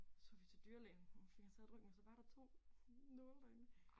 Tog vi til dyrelægen og fik han taget et røntgen og så var der 2 nåle derinde